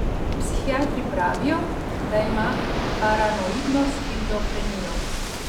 Psihiatri pravijo, da ima paranoidno shizofrenijo.